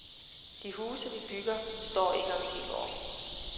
De huse, vi bygger, står ikke om ti år.